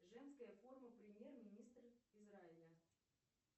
женская форма премьер министра израиля